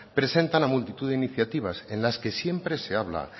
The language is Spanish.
presentan a multitud de iniciativas en las que siempre se habla